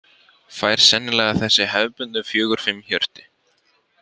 Fær sennilega þessi hefðbundnu fjögur fimm hjörtu.